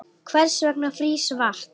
Hvers vegna frýs vatn